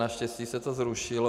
Naštěstí se to zrušilo.